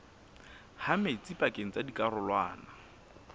ha metsi pakeng tsa dikarolwana